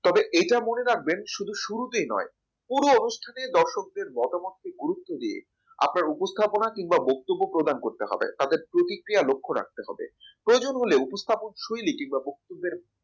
তবে এটা মনে রাখবেন শুধু শুরুতেই নয় পুরো অনুষ্ঠানে দর্শকদের মতামত কে গুরুত্ব দিয়ে আপনার উপস্থাপনা কিংবা বক্তব্য প্রদান করতে হবে তাদের প্রতিক্রিয়া লক্ষ্য রাখতে হবে প্রয়োজন হলে উপস্থাপন শুইলিটি বা বক্তব্যের